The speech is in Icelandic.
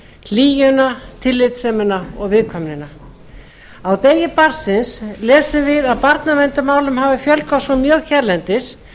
hlýjuna tillitssemina og viðkvæmnina á degi barnsins lesum við að barnaverndarmálum hafi fjölgað svo mjög hérlendis